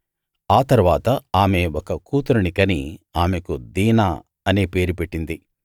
ఆ తరువాత ఆమె ఒక కూతురిని కని ఆమెకు దీనా అనే పేరు పెట్టింది